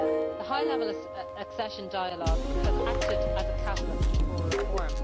The High Level Accession Dialogue has acted as a catalyst for reform.